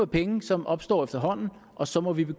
penge som opstår efterhånden og så må vi